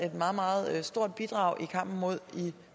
et meget meget stort bidrag i kampen mod